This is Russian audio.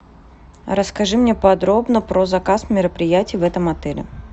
расскажи мне подробно про заказ мероприятий в этом отеле